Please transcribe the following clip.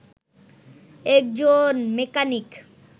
একজন মেকানিক